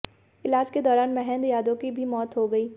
इलाज के दौरान महेंद्र यादव की भी मौत हो गई